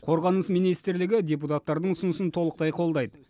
қорғаныс министрлігі депутаттардың ұсынысын толықтай қолдайды